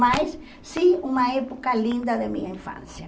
Mas sim, uma época linda da minha infância.